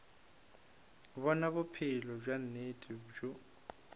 bjona bophelo bja nnete bjoo